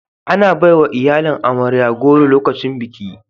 Ana baiwa iyalin amarya goro lokacin biki